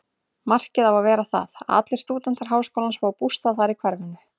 Markið á að vera það, að allir stúdentar háskólans fái bústað þar í hverfinu.